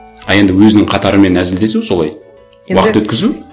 а енді өзінің қатарымен әзілдесу солай уақыт өткізу